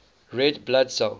red blood cell